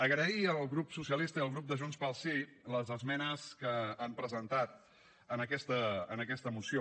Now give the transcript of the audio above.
agrair al grup socialista i al grup de junts pel sí les esmenes que han presentat a aquesta moció